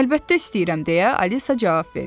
Əlbəttə istəyirəm deyə Alisa cavab verdi.